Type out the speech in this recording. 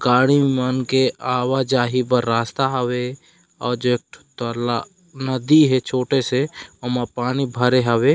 गाड़ी मन के आवा जाही बर रास्ता हावे और जो एक नदी हे छोटे से उमा पानी भरे हवे ।--